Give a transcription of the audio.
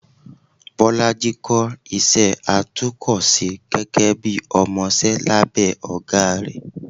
bolàjí kò ísẹ àtúko-sẹ́ gege bi ọmọsẹ labe ogá ré